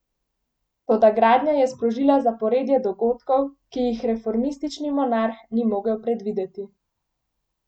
Toda gradnja je sprožila zaporedje dogodkov, ki jih reformistični monarh ni mogel predvideti.